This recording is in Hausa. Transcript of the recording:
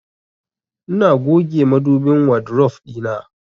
Ina goge madubin wadrof ɗina.